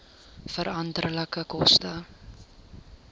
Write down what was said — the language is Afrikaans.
veranderlike koste